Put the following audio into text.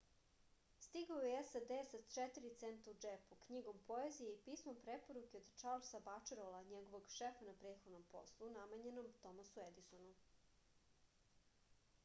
стигао је у сад са 4 цента у џепу књигом поезије и писмом препоруке од чарлса бачелора његовог шефа на претходном послу намењеном томасу едисону